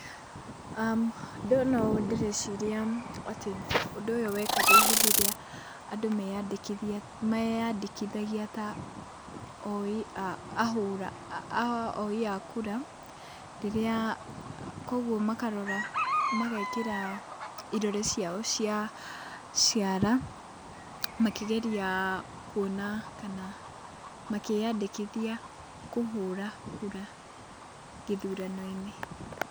Ndona ũũ ndĩreciria atĩ ũndũ ũyũ wekagwo hĩndĩ ĩrĩa andũ meyandĩkithia, meyandĩkithagia ta oi oi a kura, rĩrĩa koguo makarora magekĩra irore ciao cia ciara, makĩgeria kuona kana makĩyandĩkithia kũhũra kura gĩthurano-inĩ.